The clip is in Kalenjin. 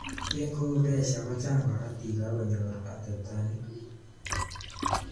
Eng koo presya kochang karotik ak konyor atepto nyi.